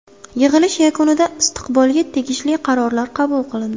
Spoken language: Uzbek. Yig‘ilish yakunida istiqbolga tegishli qarorlar qabul qilindi.